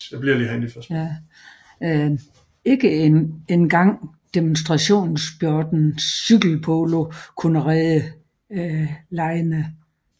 Ikke en gang demonstrationssporten cykelpolo kunne redde legene